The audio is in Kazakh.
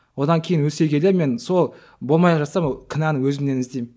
одан кейін өсе келе мен сол болмай жатса кінәні өзімнен іздеймін